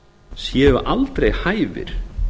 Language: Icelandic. séu aldrei hæfir